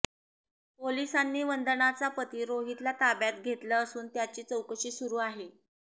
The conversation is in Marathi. पोलिसांनी वंदनाचा पती रोहितला ताब्यात घेतलं असून त्याची चौकशी सुरु आहे